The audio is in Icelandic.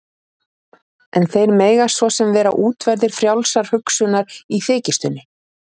En þeir mega svo sem vera útverðir frjálsrar hugsunar- í þykjustunni.